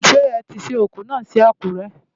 Ṣé ẹ ti sin òkú náà sí Àkúrẹ́?